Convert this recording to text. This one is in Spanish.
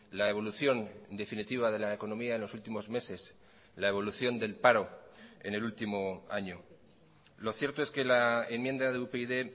la evolución definitiva de la economía en los últimos meses la evolución del paro en el último año lo cierto es que la enmienda de upyd